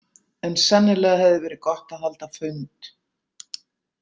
En sennilega hefði verið gott að halda fund.